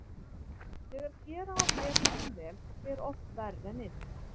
Þegar gera á betur en vel þá fer oft verr en illa.